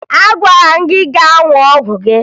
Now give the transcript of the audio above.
Agwara m gị gaa ṅụọ ọgwụ gị!